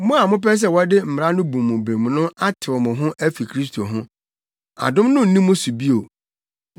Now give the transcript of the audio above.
Mo a mopɛ sɛ wɔde mmara no bu mo bem no atew mo ho afi Kristo ho. Adom no nni mo so bio.